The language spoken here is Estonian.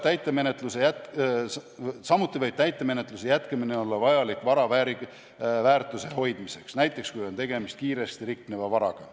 Samuti võib täitemenetluse jätkamine olla vajalik vara väärtuse hoidmiseks, näiteks siis, kui on tegemist kiiresti rikneva varaga.